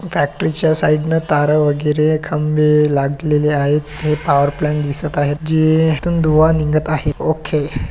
Factory च्या side ने तार वगैरे खंबे लागलेले आहेत है पॉवर प्लान्ट दिसत आहे जी थून धूआ निघत आहे ओके .